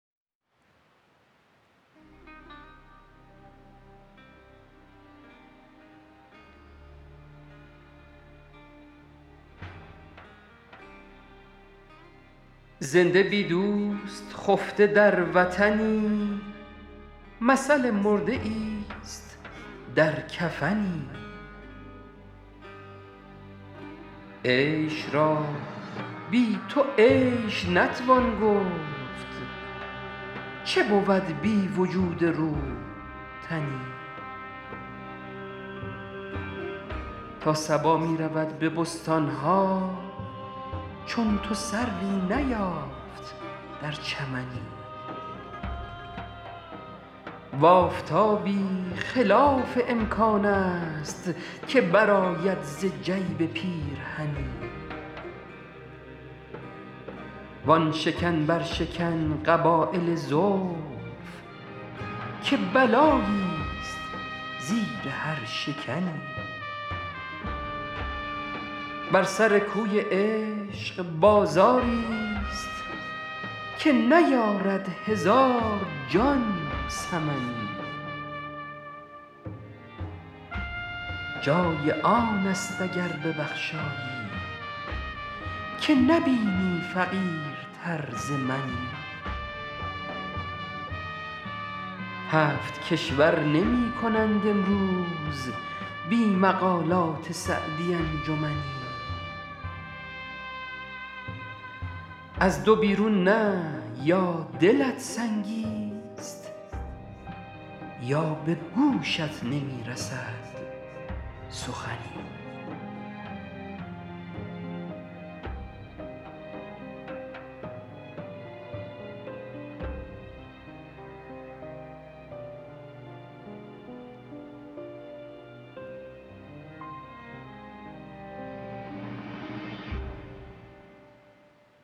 زنده بی دوست خفته در وطنی مثل مرده ایست در کفنی عیش را بی تو عیش نتوان گفت چه بود بی وجود روح تنی تا صبا می رود به بستان ها چون تو سروی نیافت در چمنی و آفتابی خلاف امکان است که برآید ز جیب پیرهنی وآن شکن برشکن قبایل زلف که بلاییست زیر هر شکنی بر سر کوی عشق بازاریست که نیارد هزار جان ثمنی جای آن است اگر ببخشایی که نبینی فقیرتر ز منی هفت کشور نمی کنند امروز بی مقالات سعدی انجمنی از دو بیرون نه یا دلت سنگیست یا به گوشت نمی رسد سخنی